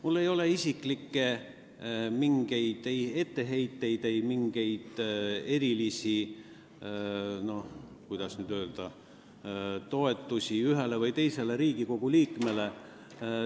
Mul ei ole mingeid erilisi isiklikke etteheiteid ja ma, kuidas öeldagi, ei avalda erilist toetust ühele või teisele Riigikogu liikmele.